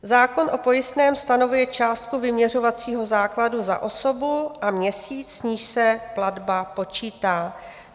Zákon o pojistném stanovuje částku vyměřovacího základu za osobu a měsíc, z níž se platba počítá.